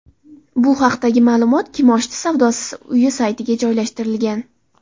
Bu haqdagi ma’lumot kimoshdi savdosi uyi saytiga joylashtirilgan .